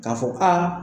K'a fɔ aa